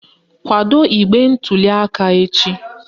Kwado igbe ntuliaka echi